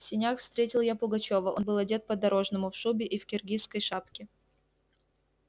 в сенях встретил я пугачёва он был одет по-дорожному в шубе и в киргизской шапке